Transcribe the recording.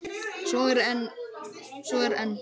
Svo er enn.